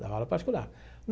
Dava aula particular.